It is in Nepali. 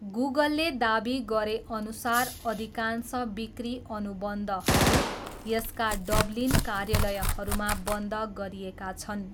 गुगलले दाबी गरेअनुसार अधिकांश बिक्री अनुबन्धहरू यसका डब्लिन कार्यालयहरूमा बन्द गरिएका छन्।